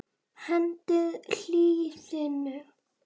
Hendið hýðinu.